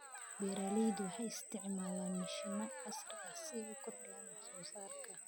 Beeraleydu waxay isticmaalaan mashiino casri ah si ay u kordhiyaan wax soo saarka.